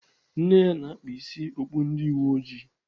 Nne ya na-akpa isi okpu ndị uweojii.